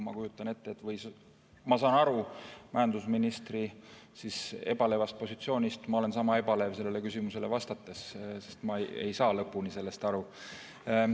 Ma saan aru majandusministri ebalevast positsioonist, ma olen sama ebalev sellele küsimusele vastates, sest ma ei saa lõpuni sellest aru.